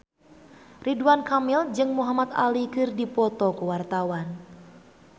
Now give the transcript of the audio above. Ridwan Kamil jeung Muhamad Ali keur dipoto ku wartawan